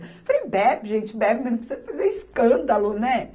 Eu falei, bebe, gente, bebe, mas não precisa fazer escândalo, né?